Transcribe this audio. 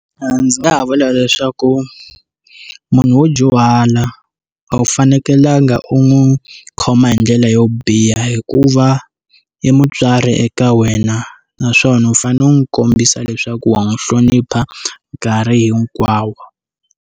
Ndzi nga ha vula leswaku munhu wo dyuhala a wu fanekelanga u n'wi khoma hi ndlela yo biha hikuva i mutswari eka wena naswona u fanele u n'wi kombisa leswaku wa n'wi hlonipha nkarhi hinkwawo.